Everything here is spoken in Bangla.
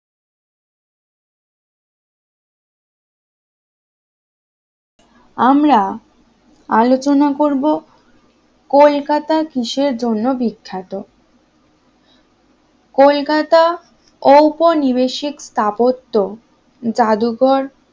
আমরা আলোচনা করব কলকাতা কিসের জন্য বিখ্যাত? কলকাতা ঔপনিবেশিক স্থাপত্য জাদুঘর